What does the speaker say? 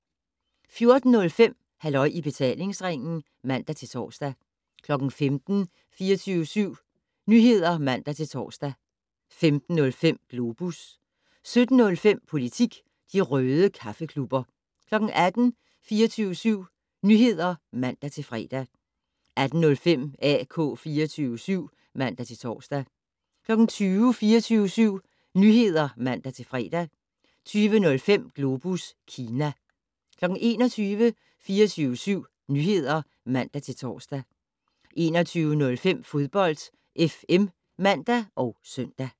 14:05: Halløj i betalingsringen (man-tor) 15:00: 24syv Nyheder (man-tor) 15:05: Globus 17:05: Politik - de røde kaffeklubber 18:00: 24syv Nyheder (man-fre) 18:05: AK 24syv (man-tor) 20:00: 24syv Nyheder (man-fre) 20:05: Globus Kina 21:00: 24syv Nyheder (man-tor) 21:05: Fodbold FM (man og søn)